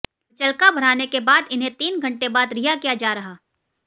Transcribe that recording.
मुचलका भराने के बाद इन्हें तीन घंटे बाद रिहा किया जा रहा